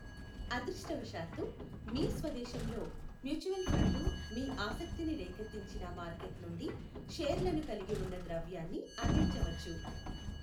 అదృష్టవశాత్తూ, మీ స్వదేశంలో మ్యూచువల్ ఫండ్లు మీ ఆసక్తిని రేకెత్తించిన మార్కెట్ నుండి షేర్లను కలిగి ఉన్న ద్రవ్యాన్ని అందించవచ్చు.